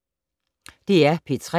DR P3